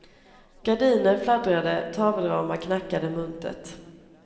Gardiner fladdrade, tavelramar knackade muntert.